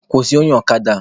Kwụsị onye ọkada a!